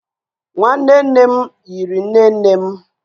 nwanne nne m yiri nne nne m.